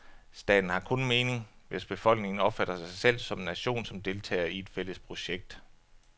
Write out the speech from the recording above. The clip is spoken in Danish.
Staten har kun mening, hvis befolkningen opfatter sig selv som en nation, som deltagere i et fælles projekt.